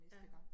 Ja